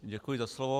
Děkuji za slovo.